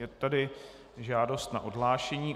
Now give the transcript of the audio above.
Je tady žádost na odhlášení.